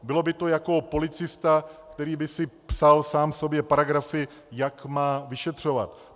Bylo by to jako policista, který by si psal sám sobě paragrafy, jak má vyšetřovat.